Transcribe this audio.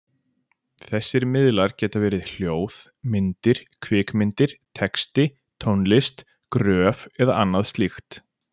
Þessir miðlar geta verið hljóð, myndir, kvikmyndir, texti, tónlist, gröf eða annað slíkt.